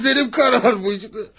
Gözlərim qaralmışdı.